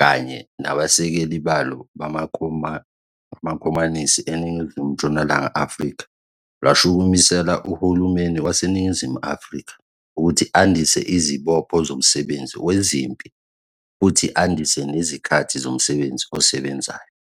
kanye nabasekeli balo bamaKhomanisi eNingizimu Ntshonalanga Afrika lwashukumisela uhulumeni waseNingizimu Afrika ukuthi andise izibopho zomsebenzi wezempi futhi andise nezikhathi zomsebenzi osebenzayo.